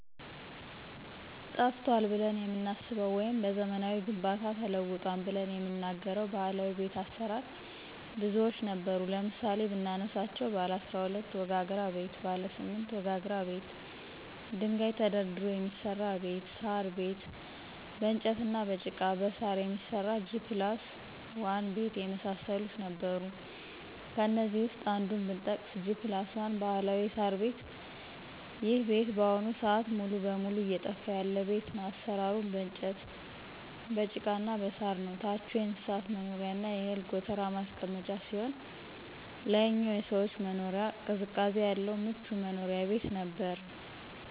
ጠፍቷል ብለን የምናስበው ወይም በዘመናዊ ግንባታ ተውጧል ብለን የምንናገረው ባህላዊ ቤት አሰራር ብዙዎች ነበሩ ለምሳሌ ብናነሳቸው ባለ12 ወጋግራ ቤት :ባለ8 ወጋግራ ቤት ደንጋይ ተደርድሮ የሚሰራ ቤት :ሳር ቤት በእንጨትና በጭቃ በሳር የሚሰራ G+1 ቤት የመሳሰሉት ነበሩ ከእነዚህ ውስጥ አንዱን ብጠቅስ G+1 ባህላዊ የሳር ቤት ይሄ ቤት በአሁኑ ስአት ሙሉ በሙሉ እየጠፋ ያለ ቤት ነው አሰራሩም በእንጨት በጭቃና በሳር ነው ታቹ የእንስሳት መኖሪያና የእህል ጎተራ ማስቀመጫ ሲሆን ላይኛው የሰዎች መኖሪያ ቅዝቃዜ ያለው ምቹ መኖሪያ ቤት ነበር።